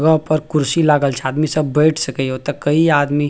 अ ऊपर कुर्सी लागल छै आदमी सब बइठ सकइयो तो कई आदमी।